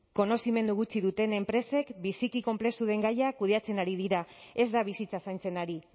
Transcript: konozimendu gutxi duten enpresek biziki konplexu den gaia kudeatzen ari dira ez da bizitza zaintzen ari